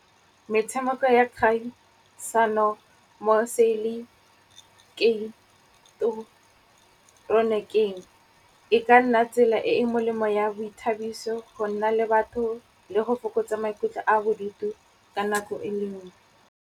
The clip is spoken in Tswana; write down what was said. Metshameko ya kgaisano moseileketoroniking, e ka nna tsela e e molemo ya boithabiso, go nna le batho le go fokotsa maikutlo a bodutu ka nako e le nngwe.